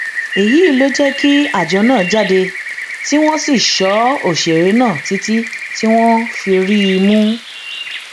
èyí ló jẹ kí àjọ náà jáde tí wọn sì sọ òṣèré náà títí tí wọn fi rí i mú